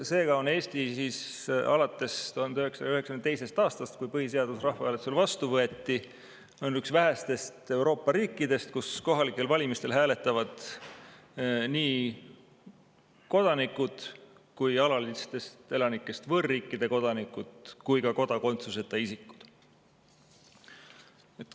" Seega on Eesti alates 1992. aastast, kui põhiseadus rahvahääletusel vastu võeti, üks vähestest Euroopa riikidest, kus kohalikel valimistel hääletavad nii kodanikud, alalistest elanikest võõrriikide kodanikud kui ka kodakondsuseta isikud.